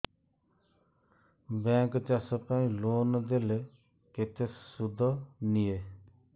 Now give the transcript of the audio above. bank ଚାଷ ପାଇଁ loan ଦେଲେ କେତେ ସୁଧ ନିଏ